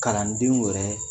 Kalandenw yɛrɛ